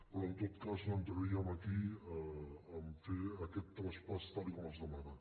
però en tot cas no entraríem aquí a fer aquest traspàs tal com es demana